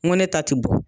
N ko ne ta ti bɔ